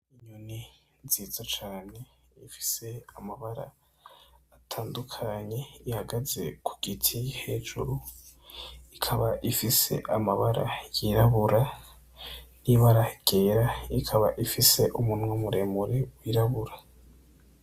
Inyoni nziza cane ifise amabara atandukanye ihagaze kugiti hejuru. Ikaba ifise amabara yirabura n'ibara ryera ikaba ifise umunwa muremure wirabura.